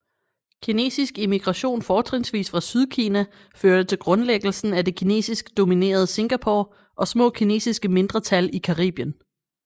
Kinesisk emigration fortrinsvis fra Sydkina førte til grundlæggelsen af det kinesisk dominerede Singapore og små kinesiske mindretal i Caribien